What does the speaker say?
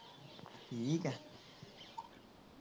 ਠੀਕ ਆ